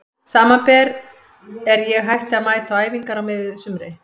Samanber er ég hætti að mæta á æfingar á miðju sumri.